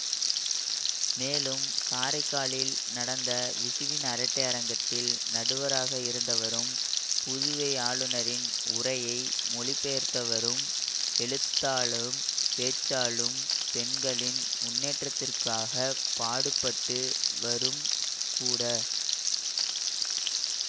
மேலும் காரைக்காலில் நடந்த விசுவின் அரட்டை அரங்கத்தில் நடுவராக இருந்தவரும் புதுவை ஆளுநரின் உரையை மொழிபெயர்த்தவரும் எழுத்தாலும் பேச்சாலும் பெண்களின் முன்னேற்றத்திக்குக்காகப் பாடுபட்டு வரும்கூட